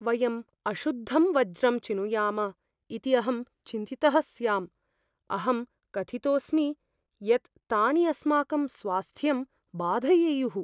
वयम् अशुद्धं वज्रम् चिनुयाम इति अहं चिन्तितः स्याम्। अहं कथितोऽस्मि यत् तानि अस्माकं स्वास्थ्यं बाधयेयुः।